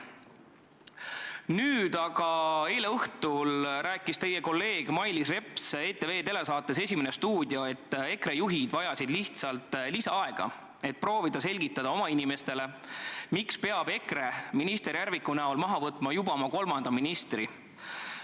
Nüüd aga rääkis teie kolleeg Mailis Reps eile õhtul ETV telesaates "Esimene stuudio", et EKRE juhid vajasid lihtsalt lisaaega, et proovida selgitada oma inimestele, miks peab EKRE minister Järviku näol maha võtma juba oma kolmanda ministri.